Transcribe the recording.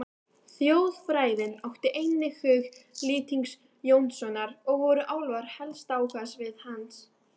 Þjóðfræðin átti einnig hug Lýtings Jónssonar og voru álfar helsta áhugasvið hans.